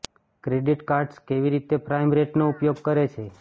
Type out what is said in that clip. credit cards કેવી રીતે prime રેટનો ઉપયોગ કરે છે